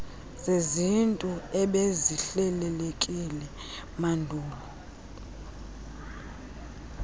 zesintu ebezihlelelekile mandulo